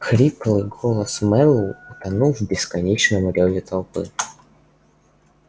хриплый голос мэллоу утонул в бесконечном рёве толпы